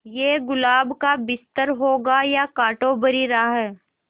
ये गुलाब का बिस्तर होगा या कांटों भरी राह